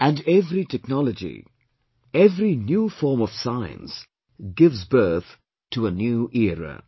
And every technology, every new form of Science gives birth to a new era